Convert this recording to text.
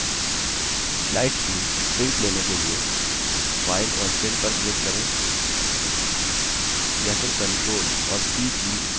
slides की prints लेने के लिए file और print पर click करें या फिर ctrl और p कीज़ साथ में press कर सकते हैं